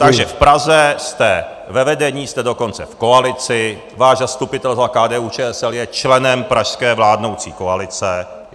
Takže v Praze jste ve vedení, jste dokonce v koalici, váš zastupitel za KDU-ČSL je členem pražské vládnoucí koalice.